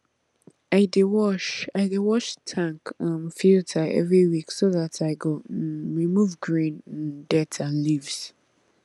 i dey wash i dey wash tank um filter every week so dat i go um remove green um dirt and leaves